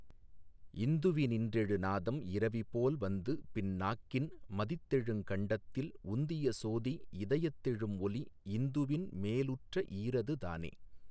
இந்துவி னின்றெழு நாதம் இரவிபோல் வந்துபின் நாக்கின் மதித்தெழுங் கண்டத்தில் உந்திய சோதி இதயத் தெழும்ஒலி இந்துவின் மேலுற்ற ஈறது தானே.